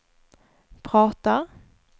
pratar